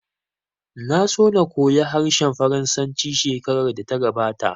Na so na koya harshen Faransanci shekarar da ta gabata